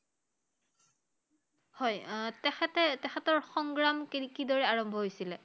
হয় আহ তেখেতে তেখেতৰ সংগ্ৰাম কি~কিদৰে আৰম্ভ হৈছিলে?